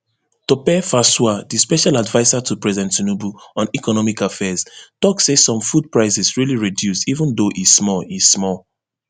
tope fasua di special adviser to president tinubu on economic affairs tok say some food prices really reduce even though e small e small